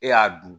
E y'a dun